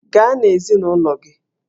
Gaa na ezinụlọ gị!